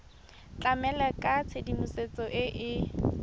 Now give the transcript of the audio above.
tlamela ka tshedimosetso e e